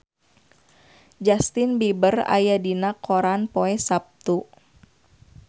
Justin Beiber aya dina koran poe Saptu